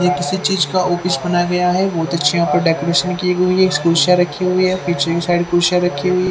ये किसी चीज का ऑफिस बनाया गया है बहुत अच्छे यहां पे डेकोरेशन की गई है कुर्सियां रखी हुई है कुर्सियां रखी हुई --